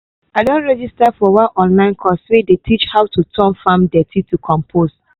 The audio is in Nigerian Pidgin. i don register for one online course wey dey teach how to turn farm dirty to compost.